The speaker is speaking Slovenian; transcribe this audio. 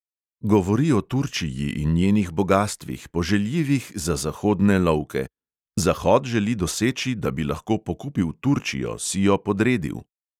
Govori o turčiji in njenih bogastvih, poželjivih za zahodne lovke: "zahod želi doseči, da bi lahko pokupil turčijo, si jo podredil."